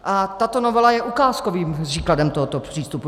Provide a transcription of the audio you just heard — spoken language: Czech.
A tato novela je ukázkovým příkladem tohoto přístupu.